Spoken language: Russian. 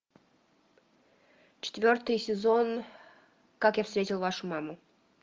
четвертый сезон как я встретил вашу маму